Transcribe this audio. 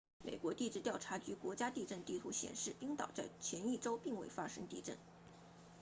美国地质调查局国际地震地图显示冰岛在前一周并未发生地震